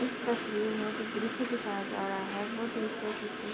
इस तस्वीर में जो दृश्य दिखाया जा रहा है वो दृश्य किसी --